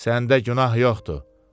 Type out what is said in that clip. Səndə günah yoxdur.